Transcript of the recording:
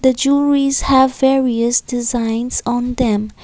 jewelleries have various designs on them.